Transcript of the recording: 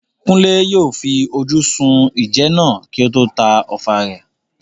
Kunle yóò fi ojú sun ìjẹ náà kí ó tó ta ọfà rẹ̀.